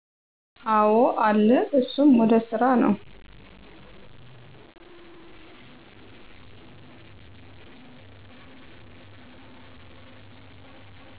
አወ አለ እሱም ወደ ስራ ነው።